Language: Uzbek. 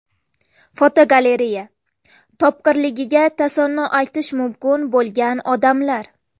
Fotogalereya: Topqirligiga tasanno aytish mumkin bo‘lgan odamlar.